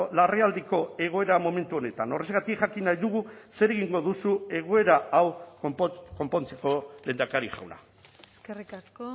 larrialdiko egoera momentu honetan horrexegatik jakin nahi dugu zer egingo duzu egoera hau konpontzeko lehendakari jauna eskerrik asko